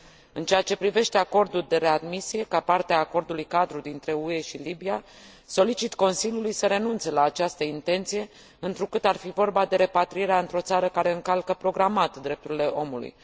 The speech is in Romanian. În ceea ce privește acordul de readmisie, ca parte a Acordului cadru dintre UE și Libia, solicit Consiliului să renunțe la această intenție, întrucât ar fi vorba de repatrierea într o țară care încalcă programat drepturile omului.